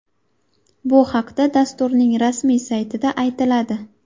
Bu haqda dasturning rasmiy saytida aytiladi .